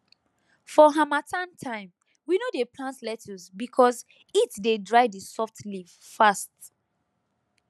for harmattan time we no dey plant lettuce because heat dey dry the soft leaf fast